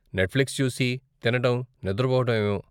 Netflix చూసి, తినటం, నిద్రపోవటం ఏవో.